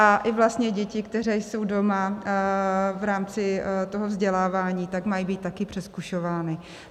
A i vlastně děti, které jsou doma v rámci toho vzdělávání, tak mají být také přezkušovány.